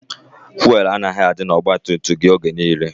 Fụelụ anaghị adị n'ọgbatumtum gị oge niile.